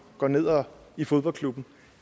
går ned i fodboldklubben